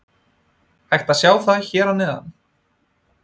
Hægt er að sjá það hér að neðan.